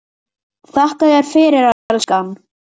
Þakka þér fyrir, elskan.